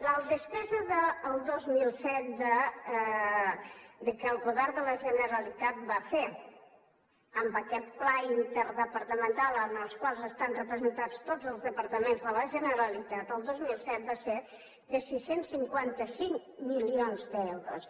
la despesa del dos mil set que el govern de la generalitat va fer amb aquest pla interdepartamental en el qual estan representats tots els departaments de la generalitat va ser de sis cents i cinquanta cinc milions d’euros